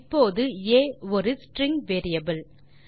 இப்போது ஆ ஒரு ஸ்ட்ரிங் வேரியபிள்